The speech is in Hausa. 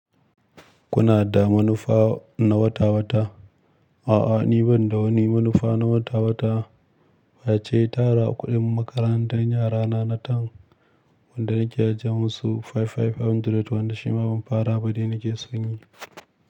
Kuna da manufa na wata-wata? A'a, ni ban da wani manufa na wata-wata face, tara kuɗin makarantar yara na na term wanda nake ajiye musu five five hundred wanda shi ma ban fara ba dai nake son yi.